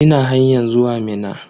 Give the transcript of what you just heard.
Ina hanyan zuwa Minna.